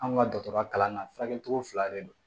Anw ka dɔgɔtɔrɔya kalan na furakɛli cogo fila de don